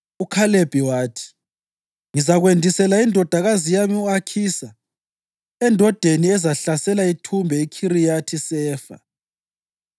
UKhalebi wathi, “Ngizakwendisela indodakazi yami u-Akhisa endodeni ezahlasela ithumbe iKhiriyathi-Sefa.”